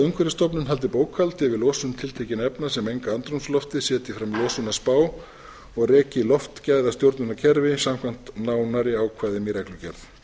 umhverfisstofnun haldi bókhald yfir losun tiltekinna efna sem menga andrúmsloftið setji fram losunarspá og reki loftgæðastjórnunarkerfi samkvæmt nánari ákvæðum í reglugerð